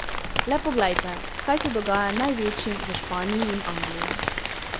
Le poglejte, kaj se dogaja največjim v Španiji in Angliji.